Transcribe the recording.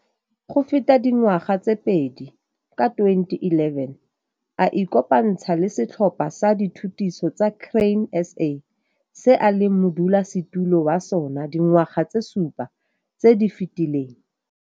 Go feta dingwaga tse pedi, ka 2011, a ikopantsha le Setlhopha sa Dithutiso sa Grain SA se a leng modulasetilo wa sona dingwaga tse supa tse di fetileng.